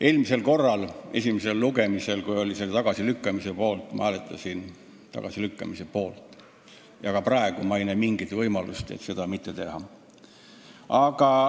Eelmisel korral, esimesel lugemisel, kui oli ettepanek see tagasi lükata, siis ma hääletasin tagasilükkamise poolt ja ka praegu ma ei näe mingit võimalust seda mitte teha.